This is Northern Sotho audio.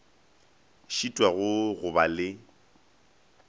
šitwago ke go ba le